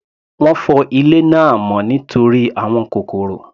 Wọ́n fọ ilé náà mọ́ nítorí àwọn kòkòrò.